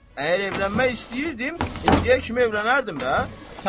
Əgər evlənmək istəyirdim, indiyə kimi evlənərdim də.